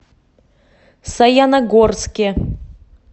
саяногорске